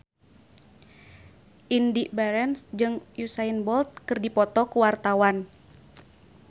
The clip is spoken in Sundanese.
Indy Barens jeung Usain Bolt keur dipoto ku wartawan